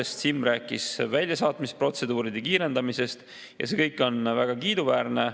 SiM rääkis väljasaatmisprotseduuride kiirendamisest ja see kõik on väga kiiduväärne.